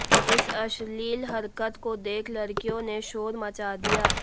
इस अश्लील हरकत को देख लड़कियों ने शोर मचा दिया